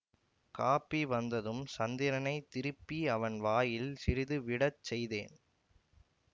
copy வந்ததும் சந்திரனைத் திருப்பி அவன் வாயில் சிறிது விட செய்தேன்